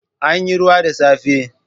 Anyi ruwa da safe.